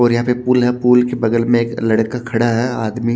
और यहां पे पूल है पूल के बगल में एक लड़का खड़ा है आदमी--